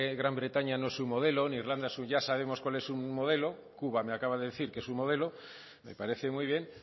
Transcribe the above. gran bretaña no es un modelo ni irlanda ya sabemos cuál es modelo cuba me acaba de decir que es su modelo me parece muy bien